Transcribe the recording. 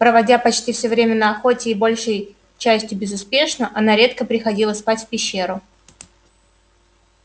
проводя почти всё время на охоте и большей частью безуспешно она редко приходила спать в пещеру